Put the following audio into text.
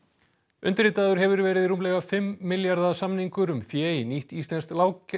undirritaður hefur verið rúmlega fimm milljarða samningur um fé í nýtt íslenskt